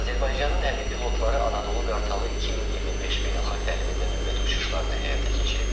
Azərbaycanın hərbi pilotları Anadolu Qartalı 2025 beynəlxalq təlimində növbəti uçuşlarını həyata keçirib.